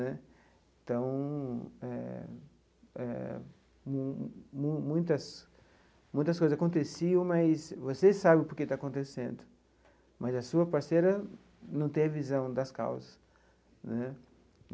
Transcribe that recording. Né então eh eh, mu mu muitas muitas coisas aconteciam, mas você sabe o porquê está acontecendo, mas a sua parceira não tem a visão das causas.